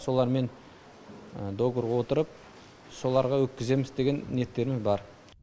солармен договорға отырып соларға өткіземіз деген ниеттерім бар